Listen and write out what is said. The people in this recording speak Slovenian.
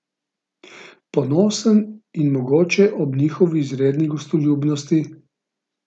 Ponosen in mogoče ob njihovi izredni gostoljubnosti!